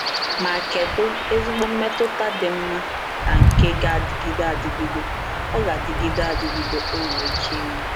Ma kedu ezigbo mmetụta dị mma na nke ga-adịgide adịgide ọ ga-adịgide adịgide ọ nwere ike inwe!